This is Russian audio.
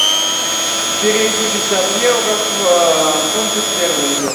переведи пятьдесят евро в фунты стерлинги